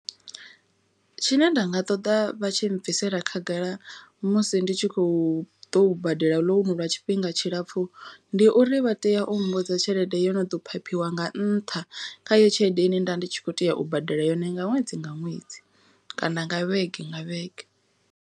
Tshine nda nga ṱoḓa vha tshi bvisela khagala musi ndi tshi khou ḓo badela ḽounu lwa tshifhinga tshilapfu. Ndi uri vha tea u mmbudza tshelede yo no ḓo phaphiwa nga nṱha. Kha i yo tshelede ine nda ndi tshi kho tea u badela yone nga ṅwedzi nga ṅwedzi kana nga vhege nga vhege.